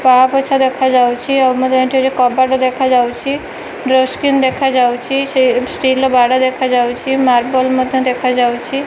ପାବୋଛ ଦେଖା ଯାଉଚି ଆଉ ମୋତେ ଏଠି କବାଟ ଦେଖାଯାଉଚି ଡୋର୍ ସ୍କ୍ରିନ୍ ଦେଖାଯାଉଚି ସେ ଷ୍ଟିଲ ର ବାଡ ଦେଖାଯାଉଚି ମାର୍ବଲ ମଧ୍ୟ ଦେଖାଯାଉଚି।